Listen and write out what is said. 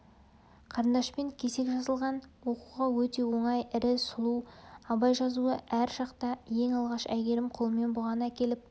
қарындашпен кесек жазылған оқуға өте оңай ірі сұлу абай жазуы әр шақта ең алғаш әйгерім қолымен бұған әкеліп